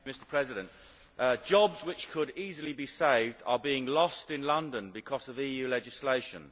Mr President, jobs which could easily be saved are being lost in London because of EU legislation.